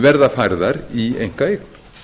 verða færðar í einkaeign